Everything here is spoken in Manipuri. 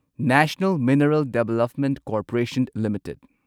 national mineral development corporation limited